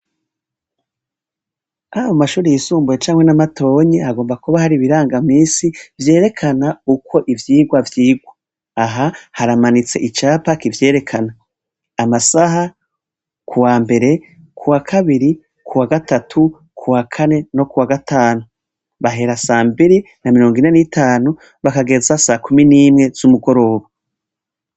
Abo mashuri yisumbuye camwe n'amatonyi hagomba kuba hari ibiranga misi vyerekana ukwo ivyigwa vyigwa aha haramanitse icapa kivyerekana amasaha ku wa mbere ku wa kabiri ku wa gatatu ku wa kane no kuwa gatanu bahera sambiri na mirongo inan'itanu bakagetza sa kumi n'imwe z'umugoroba.